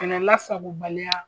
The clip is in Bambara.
Kɛlɛ lasagobaliya